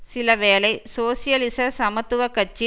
சிலவேளை சோசியலிச சமத்துவ கட்சி